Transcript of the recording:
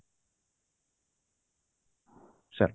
sir